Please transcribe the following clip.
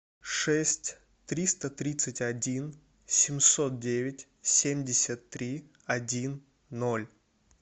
шесть триста тридцать один семьсот девять семьдесят три один ноль